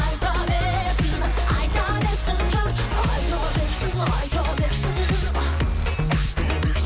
айта берсін айта берсін жұрт